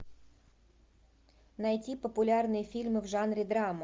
найти популярные фильмы в жанре драма